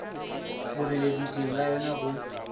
boreledi teng ga yona go